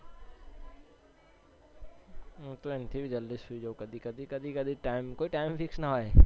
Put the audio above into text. હું તો એનથીબી જલ્દી સુઈ જાઉં કઘી કધી કોઈ time fix ના હોય